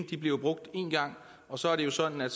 kan blive brugt én gang så er det jo sådan at